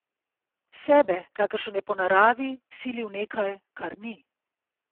Sebe, kakršen je po naravi, sili v nekaj, kar ni.